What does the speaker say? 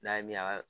N'a ye min a ka